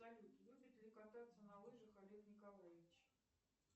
салют любит ли кататься на лыжах олег николаевич